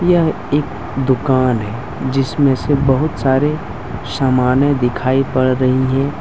यह एक दुकान है जिसमें से बहुत से सारे समाने दिखाई पड़ रही हैं।